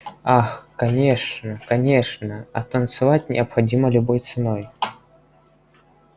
ах конечно конечно а танцевать необходимо любой ценой